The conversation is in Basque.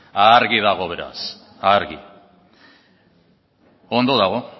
argi dago beraz argi ondo dago